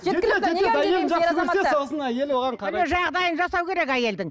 жағдайын жасау керек әйелдің